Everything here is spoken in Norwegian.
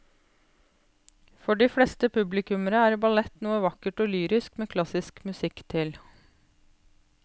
For de fleste publikummere er ballett noe vakkert og lyrisk med klassisk musikk til.